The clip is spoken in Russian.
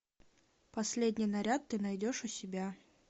последний наряд ты найдешь у себя